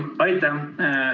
Aitäh!